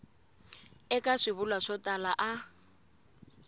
eka swivulwa swo tala a